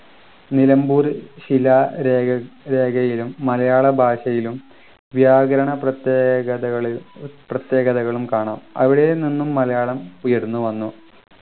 നിലമ്പൂർ ശിലാരേഖ രേഖയിലും മലയാള ഭാഷയിലും വ്യാകരണ പ്രത്യേകതകളി പ്രത്യേകതകളും കാണാം അവിടെ നിന്നും മലയാളം ഉയർന്നുവന്നു